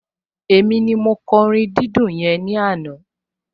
Èmi ni mo kọ orin dídùn yẹn ní àná